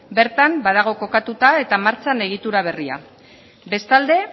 bertan badago kokatuta eta martxan egitura berria bestalde